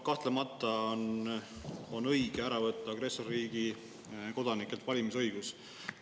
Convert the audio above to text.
Kahtlemata on õige agressorriigi kodanikelt valimisõigus ära võtta.